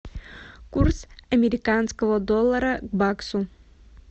курс американского доллара к баксу